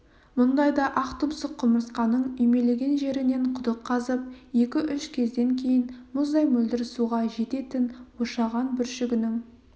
мұндайда ақтұмсық құмырсқаның үймелеген жерінен құдық қазып екі-үш кезден кейін мұздай мөлдір суға жететін ошаған бүршігінің